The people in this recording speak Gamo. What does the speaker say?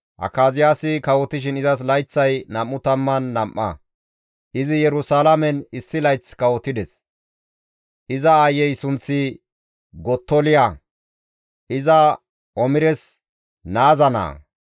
Akaziyaasi kawotishin izas layththay 22 ; izi Yerusalaamen issi layth kawotides; iza aayey sunththi Gottoliya; iza Omires naaza naa.